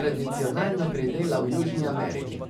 tradicionalno pridela v Južni Ameriki.